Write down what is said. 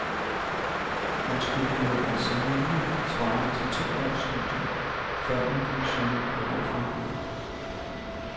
Man skulle have eksaminer svarende til to års studier, før man kunne søge om overflytning.